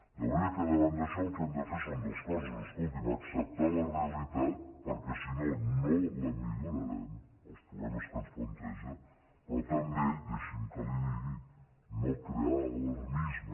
de manera que davant d’això el que hem de fer són dos coses escolti’m acceptar la realitat perquè si no no la millorarem els problemes que ens planteja però també deixi’m que li ho digui no crear alarmisme